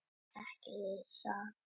Ekki gera þér upp sakleysi.